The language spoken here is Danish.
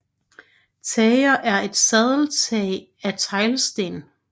Tager er et sadeltag af teglsten